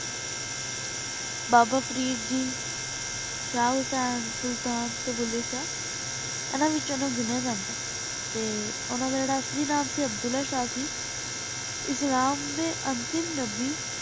ਬਾਬਾ ਫਾਰੀਇਡ ਜੀ ਸ਼ਾਹ ਹੁਸ੍ਸੈਨ ਸੁਲਤਾਨ ਤੇ ਭੂਲੇ ਸ਼ਾਹ ਏਨਾ ਵਿਚ ਓਨੁ ਗਿਨ੍ਯਾਂ ਜਾਂਦਾ ਆਯ ਤੇ ਓਨਾ ਦਾ ਜੇਰਾ ਅਸਲੀ ਨਾਮ ਸੀ ਅਬ੍ਦੁਲ੍ਲਾਹ ਸ਼ਾਹ ਸੀ ਇਸਲਾਮ ਦੇ ਅੰਤਿਮ ਨਬੀ